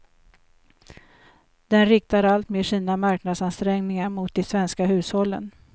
Den riktar alltmer sina marknadsansträngningar mot de svenska hushållen.